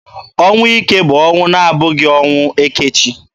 Ọnwụ ike bụ ọnwụ na-abụghị ọnwụ eke chi.